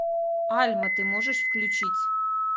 альма ты можешь включить